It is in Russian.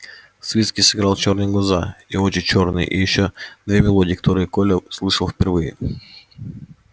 свицкий сыграл чёрные глаза и очи чёрные и ещё две мелодии которые коля слышал впервые